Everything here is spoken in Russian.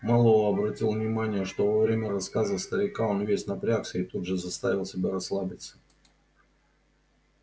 мэллоу обратил внимание что во время рассказа старика он весь напрягся и тут же заставил себя расслабиться